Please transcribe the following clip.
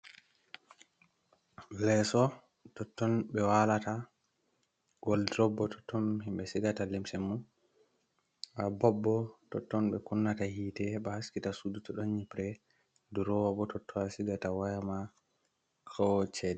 leso, totton be walata, woldrob bo totton himbe sigata lemse mum bob bo, totton be kunnata hite he ba haskita sudu don nyipre, durowa bo totton be sigata wayama ko chede.